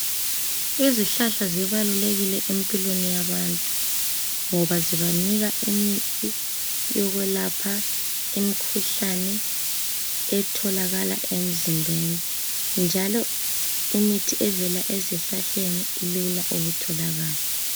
izihlahla zibalulekil empilweni yabantu ngoba zibanika imithi yokwelapha imkhuhlane etholakala emzimbeni njalo imithi evala ezihlahleni ilula ukutholakala